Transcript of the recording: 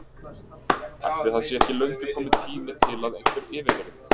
Ætli það sé ekki löngu kominn tími til að einhver yfirheyri mig.